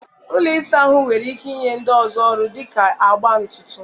Ụlọ ịsa ahụ nwere ike inye ndị ọzọ ọrụ dị ka agba ntutu..